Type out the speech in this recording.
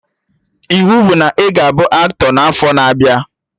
Iwu bụ na ị ga-abụ aktọ n'afọ na abịa!